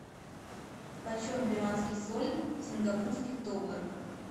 почем перуанский соль в сингапурских долларах